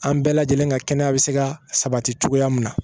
An bɛɛ lajɛlen ka kɛnɛya bɛ se ka sabati cogoya min na